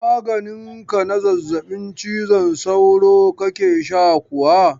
Maganin ka na zazzabin cizon sauro kake sha kuwa?